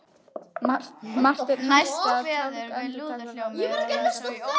Marteinn hætti að tálga andartak og leit á Pétur.